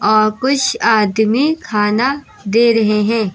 और कुछ आदमी खाना दे रहे हैं।